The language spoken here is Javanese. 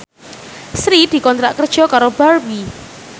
Sri dikontrak kerja karo Barbie